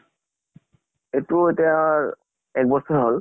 এইটো এতিয়া এক বছৰ হল।